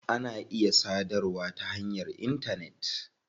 Ana iya sadarwa ta hanyar intanet.